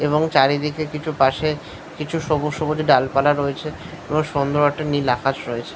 এবং চারিদিকে কিছু পাশে কিছু সবুজ সবুজ ডালপালা রয়েছে। এবং সুন্দর একটা নীল আকাশ রয়েছ--